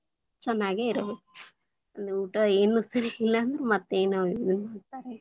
ಚನ್ನಾಗೇ ಇರಬೇಕು, ಅದ ಊಟ ಏನು ಸರಿ ಇಲ್ಲಾಂದ್ರೆ ಮತ್ತೆ ಏನ ಇದನ್ನ್‌ ಅಂತ .